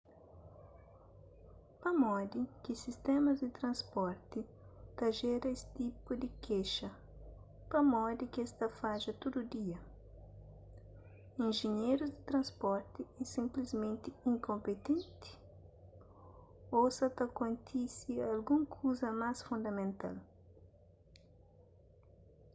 pamodi ki sistémas di transporti ta jera es tipus di kexa pamodi ki es ta fadja tudu dia injinherus di transporti é sinplismenti inkonpinti ô sa ta kontise algun kuza más fundamental